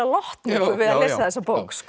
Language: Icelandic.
lotningu við að lesa þessa bók